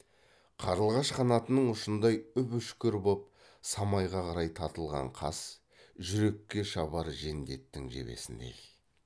қарлығаш қанатының ұшындай үп үшкір боп самайға қарай тартылған қас жүрекке шабар жендеттің жебесіндей